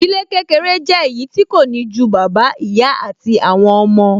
Ìdílé kékeré jẹ́ èyí tí kò ní ju bàbá, ìyá àti àwọn ọmọ